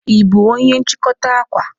Ị bụ onye nchikota akwa?